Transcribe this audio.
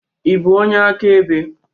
Ị bụ onye akaebe?